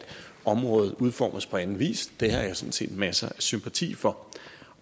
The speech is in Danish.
området udformes på anden vis det har jeg sådan set masser af sympati for